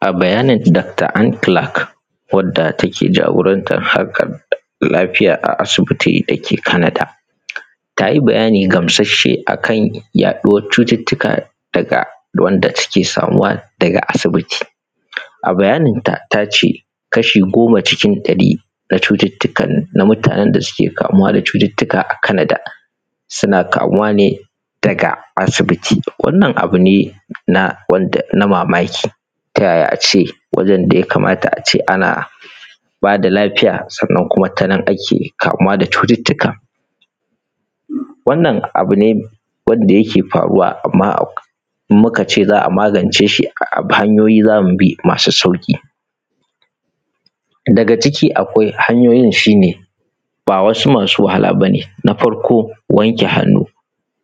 a bayanin dakta Antilak wanda take jagoran ta lafiya a asibiti da ke Kanada, ta yi bayani gamsasshe akan yaɗuwan cututtuka daga wanda take samuwa daga asibiti. A bayaninta, ta ce kashi goma cikin ɗari na cututtukan da mutane suke kamuwa da su a Kanada suna kamuwa daga asibiti. Wannan abu ne na wanda na mamaki tayaya a ce wajen da ya kamata a ce ana ba da lafiya, sannan kuma tanan ake kamuwa da cututtuka? Wannan abu ne wanda yake faruwa, amma in muka ce za a magance shi, wasu hanyoyi za mu bi masu sauƙi. daga cikin hanyoyin, sune –ba wasu masu wahala ba ne: na farko, wanke hannu.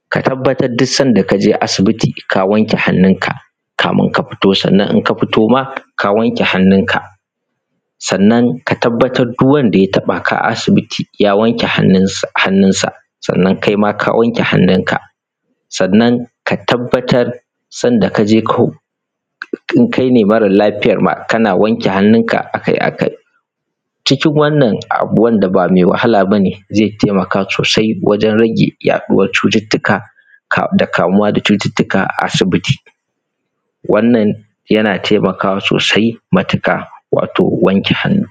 ka tabbatar duk sanda ka je asibiti, ka wanke hannunka kafin ka fito. sannan in ka fito ma, ka wanke hannunka. sannan ka tabbatar duk wanda ya taɓaka a asibiti, ya wanke hannunsa, sannan kaima ka wanke hannunka. sannan ka tabbatar sanda ka je ku, in kaine mara lafiya ne ma, kana wanke hannunka akai-akai cikin wannan abu wanda ba me wahala ba ne, ze taimaka sosai wajen rage haɗuwar cututtuka kafin kamuwa da cututtuka a asibiti. wannan yana taimakawa matuƙa wato wanke hannu.